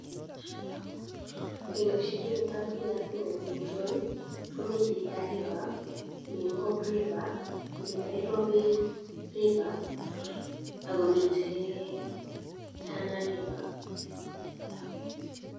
Ainoshek chekikotaret bik ab Kenya en central komiten Thika river mi Ngong river mi Nairobi river akomiten tana river